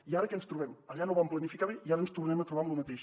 i ara què ens trobem allà no ho van planificar bé i ara ens tornem a trobar amb lo mateix